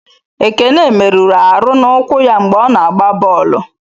Ekene merụrụ Aru n'ụkwụ ya mgbe ọ na-agba bọọlụ.